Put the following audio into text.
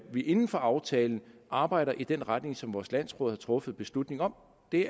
vi inden for aftalen arbejder i den retning som vores landsråd har truffet beslutning om det